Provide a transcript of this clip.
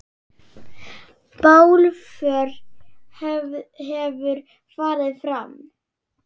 Bálför hefur farið fram.